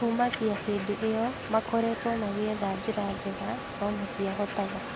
Kumagia hĩndi iyo makoretwe makĩetha njĩra njega, no matĩabotaga